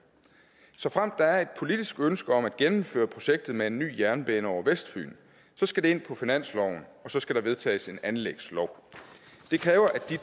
såfremt der er et politisk ønske om at gennemføre projektet med en ny jernbane over vestfyn skal det ind på finansloven og så skal der vedtages en anlægslov det kræver at de